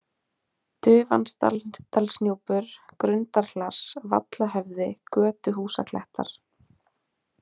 Dufansdalsnúpur, Grundarhlass, Vallahöfði, Götuhúsaklettar